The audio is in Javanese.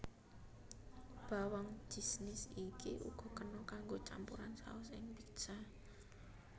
Bawang jisnis iki uga kena kanggo campuran saos ing pizza